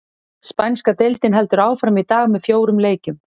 Spænska deildin heldur áfram í dag með fjórum leikjum.